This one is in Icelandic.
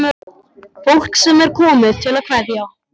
Fólk sem er komið til að kveðja.